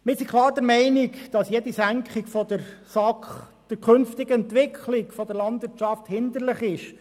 Wir sind klar der Meinung, dass jede Senkung der SAK der künftigen Entwicklung der Landwirtschaft hinderlich ist.